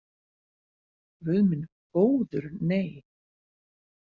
Guð minn góður nei.